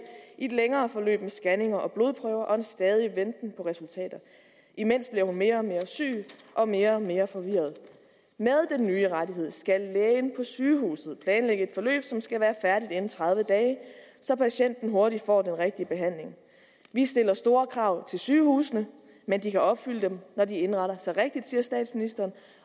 i et længere forløb med scanninger og blodprøver og en stadig venten på resultater imens bliver hun mere og mere syg og mere og mere forvirret med den nye rettighed skal lægen på sygehuset planlægge et forløb som skal være færdigt inden tredive dage så patienten hurtigt får den rigtige behandling vi stiller store krav til sygehusene men de kan opfylde dem når de indretter sig rigtigt det siger statsministeren